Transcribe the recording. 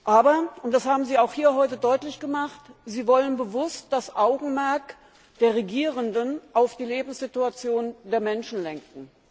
Aber das haben Sie hier heute auch deutlich gemacht Sie wollen bewusst das Augenmerk der Regierenden auf die Lebenssituation der Menschen lenken.